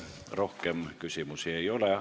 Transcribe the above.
Rohkem küsimusi ei ole.